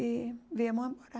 e viemos a morar